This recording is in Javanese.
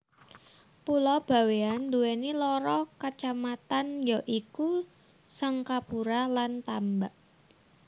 Pulo Bawéan nduweni loro kacamatan ya iku Sangkapura lan Tambak